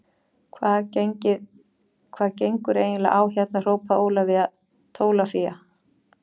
Hvað gengur eiginlega á hérna hrópaði Ólafía Tólafía.